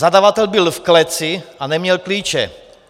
Zadavatel byl v kleci a neměl klíče.